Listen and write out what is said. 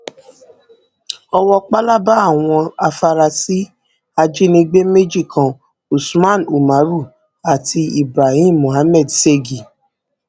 owó pálábá àwọn àfarasí ajínigbé méjì kan usman umaru àti ibrahim muhammed ségi